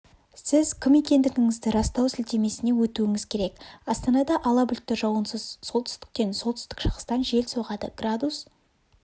сіз кім екендігіңізді растау сілтемесіне өтуіңіз керек астанада ала бұлтты жауынсыз солтүстіктен солтүстік-шығыстан жел соғады градус